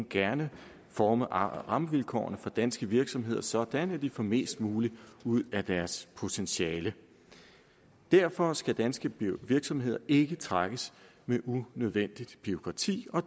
gerne forme rammevilkårene for danske virksomheder sådan at de får mest muligt ud af deres potentiale derfor skal danske virksomheder ikke trækkes med unødvendigt bureaukrati